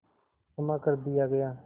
क्षमा कर दिया गया